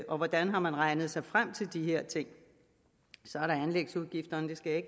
og hvordan har man regnet sig frem til de her ting så er der anlægsudgifterne det skal jeg